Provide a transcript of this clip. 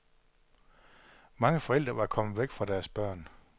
Mange forældre var kommet væk fra deres børn.